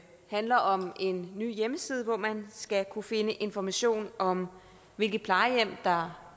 handler om en ny hjemmeside hvor man skal kunne finde information om hvilke plejehjem der